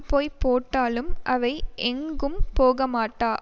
போய் போட்டாலும் அவை எங்கும் போகமாட்டா